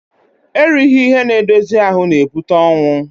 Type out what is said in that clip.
Erighi ihe n'edozi ahụ n'ebute ọnwụ